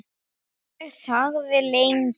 Ég þagði lengi.